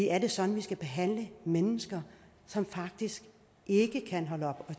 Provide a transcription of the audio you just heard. er det sådan vi skal behandle mennesker som faktisk ikke kan holde op